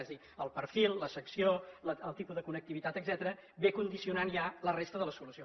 és a dir el perfil la secció el tipus de connectivitat etcètera vénen condicionant ja la resta de la solució